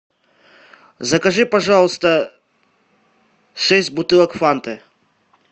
закажи пожалуйста шесть бутылок фанты